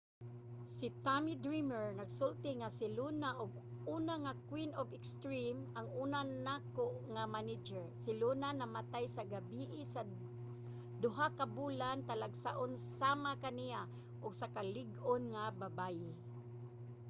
si tommy dreamer nagsulti nga si luna ang una nga queen of extreme. ang una nako nga manager. si luna namatay sa gabii sa duha ka bulan. talagsaon sama kaniya. usa ka lig-on nga babaye.